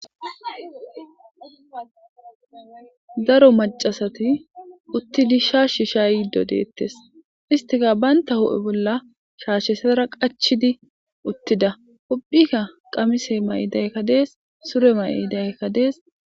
Daro maccasati uttidi shaashshi shaayido deettes. Istikka banya hu'e bolla shaashetara qachchidiuttida. Ubbika qamise ma'idaykka dees sure ma'idaykka dees.